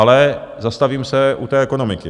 Ale zastavím se u té ekonomiky.